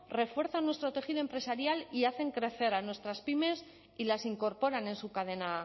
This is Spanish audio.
refuerzan nuestro tejido empresarial y hacen crecer a nuestras pymes y las incorporan en su cadena